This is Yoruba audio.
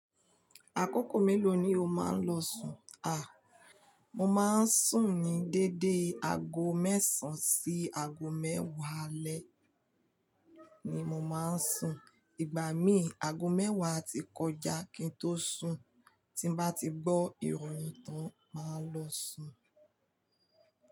Àkókò mélòó ni o máa ń lọ sùn? A! Mo máa ń sùn ní deédé aago mẹ́sàn sí ago mẹ́wá alẹ́ ni mo maá ń sùn. Ìgbà míì ago mẹ́wà a ti kọjá kí n tó sùn. Tí n bá ti gbọ́ ìròyìn tán máa lọ sùn.